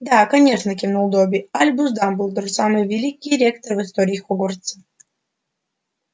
да конечно кивнул добби альбус дамблдор самый великий ректор в истории хогвартса